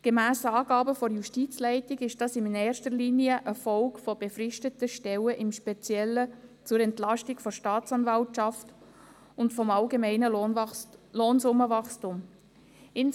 Gemäss Angaben der Justizleitung ist dies in erster Linie eine Folge von befristeten Stellen im Speziellen zur Entlastung der Staatsanwaltschaft und des allgemeinen Lohnsummenwachstums.